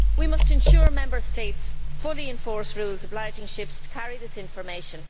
We must ensure Member States fully enforce rules obliging ships to carry this information.